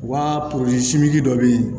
Wa dɔ bɛ yen